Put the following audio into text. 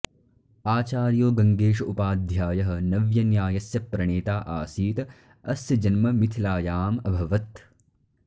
आचार्यो गङ्गेश उपाध्यायः नव्यन्यायस्य प्रणेता आसीत् अस्य जन्म मिथिलायाम् अभवत्